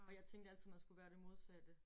Og jeg tænkte altid man skulle være det modsatte